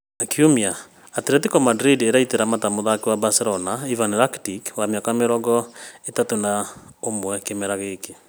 Kiumia; Atletico Madrid ĩraitĩra mata mũthaki wa Barcelona Ivan Rakitic wa mĩaka mĩrongo ĩtatũ na ũmwe kĩmera gĩkĩ